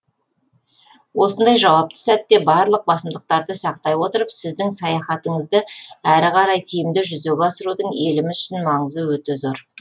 осындай жауапты сәтте барлық басымдықтарды сақтай отырып сіздің саяхатыңызды әрі қарай тиімді жүзеге асырудың еліміз үшін маңызы өте зор